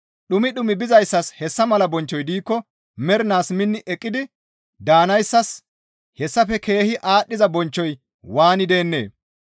Dhumi dhumi bizayssas hessa mala bonchchoy diikko mernaas minni eqqi daanayssas hessafe keehi aadhdhiza bonchchoy waani deennee?